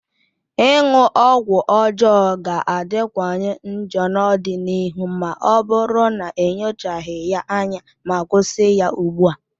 ịṅụ ọgwụ ọjọọ ga-adịwanye njọ n'ọdịnihu ma ọ bụrụ na enyochaghị ya anya ma kwụsị ya ugbua.